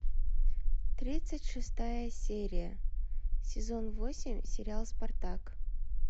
тридцать шестая серия сезон восемь сериал спартак